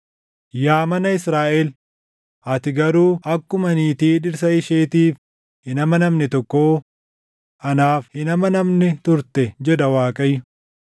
Yaa mana Israaʼel, ati garuu akkuma niitii dhirsa isheetiif hin amanamne tokkoo, anaaf hin amanamne turte” jedha Waaqayyo.